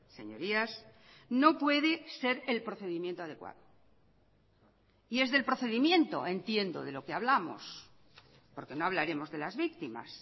señorías no puede ser el procedimiento adecuado y es del procedimiento entiendo de lo que hablamos porque no hablaremos de las víctimas